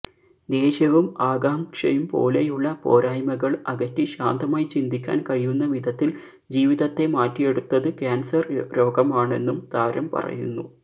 ദേഷ്യവും ആകാംക്ഷയും പോലെയുള്ള പോരായ്മകൾ അകറ്റി ശാന്തമായി ചിന്തിക്കാൻ കഴിയുന്ന വിധത്തിൽ ജീവിതത്തെ മാറ്റിയെടുത്തത് കാൻസർ രോഗമാണെന്നും താരം പറയുന്നു